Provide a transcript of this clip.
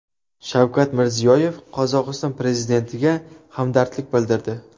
Shavkat Mirziyoyev Qozog‘iston prezidentiga hamdardlik bildirdi.